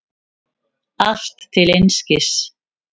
Allt til einskis.